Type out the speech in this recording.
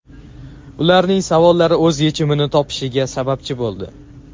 ularning savollari o‘z yechimini topishiga sababchi bo‘ldi.